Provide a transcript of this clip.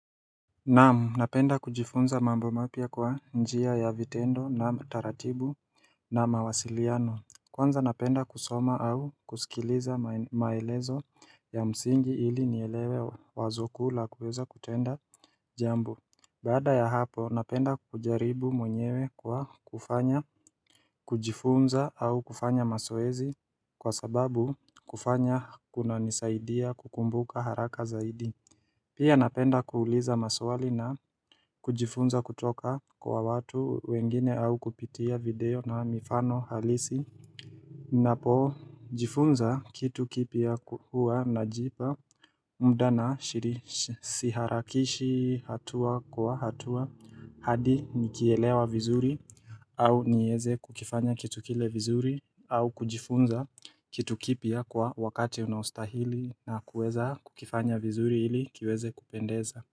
Naam napenda kujifunza mambo mapya kwa njia ya vitendo na taratibu na mawasiliano Kwanza napenda kusoma au kusikiliza maelezo ya msingi ili nielewe wazo kuu kuweza kutenda jambo Bada ya hapo napenda kujaribu mwenyewe kwa kufanya. Kujifunza au kufanya mazoezi kwa sababu kufanya kuna nisaidia kukumbuka haraka zaidi Pia napenda kuuliza maswali na kujifunza kutoka kwa watu wengine au kupitia video na mifano halisi Napo jifunza kitu kipya hua najipa mda na siharakishi hatua kwa hatua hadi nikielewa vizuri au nieze kukifanya kitu kile vizuri au kujifunza kitu kipya kwa wakati unaostahili na kuweza kukifanya vizuri ili kiweze kupendeza.